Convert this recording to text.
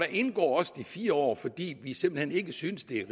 indgår også de fire år fordi vi simpelt hen ikke synes det er